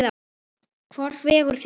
Hvort vegur þyngra?